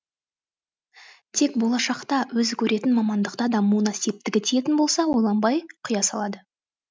тек болашақта өзі көретін мамандықта дамуына септігі тиетін болса ойланбай құя салады